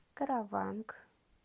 караванг